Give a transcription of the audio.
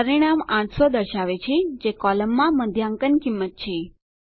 પરિણામ 800 દર્શાવે છે જે કોલમમાં મધ્યાંકન કિંમત છે